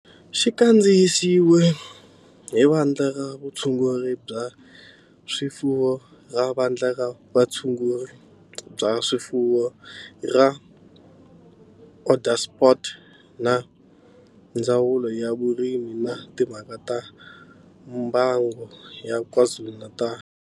Xi kandziyisiwe hi Vandla ra Vutshunguri bya swifuwo ra Vandla ra Vutshunguri bya swifuwo ra Onderstepoort na Ndzawulo ya Vurimi na Timhaka ta Mbango ya KwaZulu-Natal.